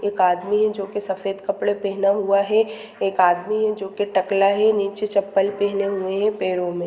एक आदमी है जो सफेद कपड़े पहने हुए है एक आदमी है जो की टकला है नीचे चप्पल पहने हुए है पैरो मे--